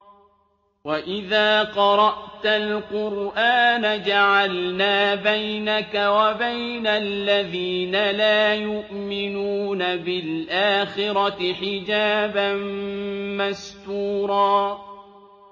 وَإِذَا قَرَأْتَ الْقُرْآنَ جَعَلْنَا بَيْنَكَ وَبَيْنَ الَّذِينَ لَا يُؤْمِنُونَ بِالْآخِرَةِ حِجَابًا مَّسْتُورًا